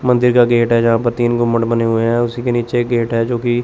मंदिर का गेट है जहां पे तीन गुंबद बने हुए हैं उसी के नीचे गेट है जोकि--